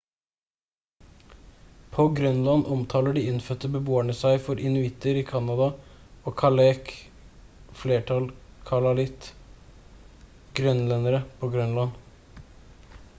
på grønland omtaler de innfødte beboerne seg for inuitter i canada og kalaalleq flertall kalaallit grønlendere på grønland